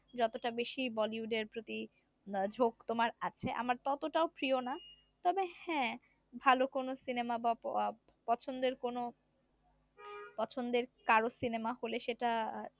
যতটা বেশি বলিউডের প্রতি ঝোক তোমার আছে আমার ততোটাও প্রিয় না তবে হ্যা ভালো কোন সিনেমা বা আহ পছন্দের কোন পছন্দের কারো সিনেমা হলে সেটা